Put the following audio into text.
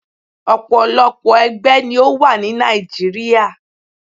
Òpòlopò ẹgbẹ́ ni ó wà ni Nigeria.